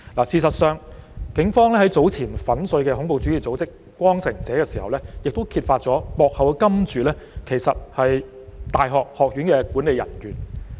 事實上，警方在早前粉碎恐怖主義組織"光城者"時，亦揭發了幕後金主其實是大學學院的管理人員。